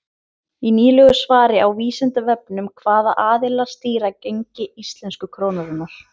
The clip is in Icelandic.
Í nýlegu svari á Vísindavefnum Hvaða aðilar stýra gengi íslensku krónunnar?